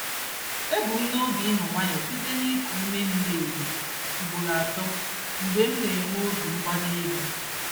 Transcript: Ebu m n'obi ịnọ nwayọọ site n'iku ume miri emi ugboro atọ mgbe m na-enwe obi mgbali elu.